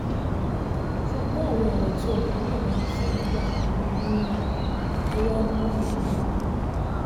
ṣùgbọ́n àwọn ọ̀rọ̀ tí ọkùnrin náà máa ń sọ nígbà mí-in ọ̀rọ̀ amúnibínú ni